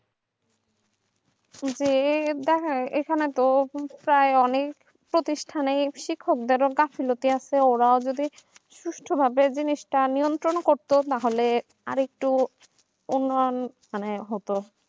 এই যে দেখেন এখানে তো ওরকমই তো চায় অনেক প্রতিষ্ঠানিক শিক্ষকদের গাফলুটি আছে ওরা যদি সুষ্ঠুভাবে মেনটেইন করত তাহলে আরেকটু উন্নয়ন ও তার কি